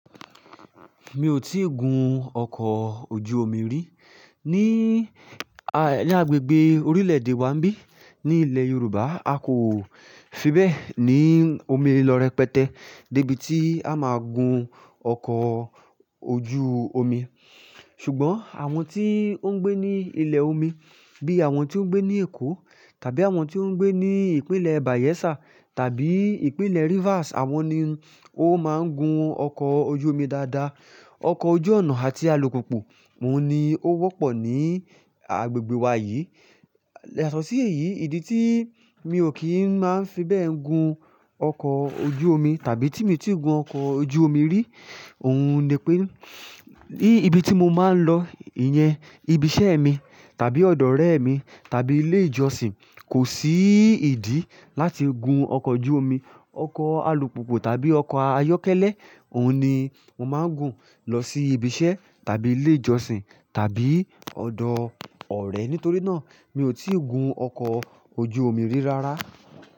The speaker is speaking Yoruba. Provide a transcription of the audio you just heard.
Mi ò tíì gun ọkọ̀ ojú omi rí. Ni, a, ní agbègbè orílè-èdè wa ń bí, ní ilẹ̀ Yorùbá, a kò fi bẹ́ẹ̀ ní omi lọ́ rẹpẹtẹ́ débi tí a máa gun ọkọ̀ ojú omi. Ṣùgbọ́n àwọn tí ó ń gbé ní ilẹ̀ omi bí àwọn tó ń gbé ní Èkó tàbí àwọn tí ó ń gbé ní ìpínlẹ̀ Bayelsa tàbí ìpínlẹ̀ Rivers, àwọn ni ó máa ń gun ọkọ̀ ojú omi dáadáa. Ọkọ̀ ojú ọ̀nà àti alùpùpù òhun ni ó wọ́pọ̀ ní agbègbè wa yìí. Yatọ̀ sí èyí, ìdí tí mi ò kí ń máa ń fi bẹ́ẹ̀ gun ọkọ̀ ojú omi tàbí tí mi tíì gun ọkọ̀ ojú omi rí, òun ni pé ní ibi tí mo máa ń lọ, ìyẹn ibi iṣẹ́ mi tàbí ọ̀dọ̀ ọ̀rẹ́ mi tàbí ilé ìjọsìn, kò sí ìdí láti gun ọkọ̀ ojú omi. Ọkọ̀ alùpùpù tàbí ọkọ̀ ayọ́kẹ́lẹ́ òhun ni mo máa ń gun lọ sí ibi iṣẹ́ tàbí ilé ìjọsìn tàbí ọ̀dọ̀ ọ̀rẹ́. Nítorí náà, mi ò tí ì gun ọkọ̀ ojú omi rí rárá.